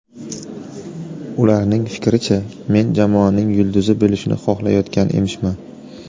Ularning fikricha men jamoaning yulduzi bo‘lishni xohlayotgan emishman.